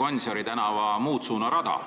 Gonsiori tänava muutsuunarada, nagu Kristen Michal mõnda aega tagasi ütles.